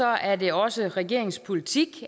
er det også regeringens politik